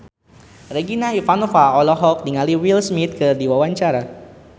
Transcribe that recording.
Regina Ivanova olohok ningali Will Smith keur diwawancara